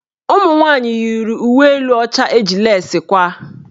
Ụmụnwanyị yiri uwe elu ọcha eji lesi kwaa.